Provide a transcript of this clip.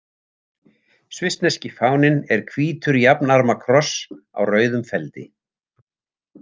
Svissneski fáninn er hvítur jafnarma kross á rauðum feldi.